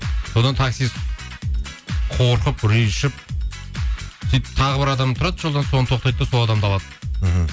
содан таксист қорқып үрейі ұшып сөйтіп тағы бір адам тұрады жолда соған тоқтайда да сол адамды алады мхм